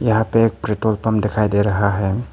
यहां पे एक पेट्रोल पंप दिखाई दे रहा है।